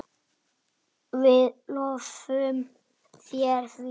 Við lofum þér því.